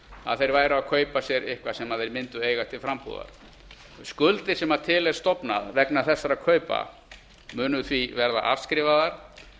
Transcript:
að þeir væru að kaupa sér eitthvað sem þeir mundu eiga til frambúðar skuldin sem til er stofnað vegna þessara kaupa munu því verða afskrifaðar